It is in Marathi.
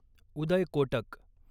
उदय कोटक